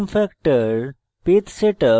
zoom factor page setup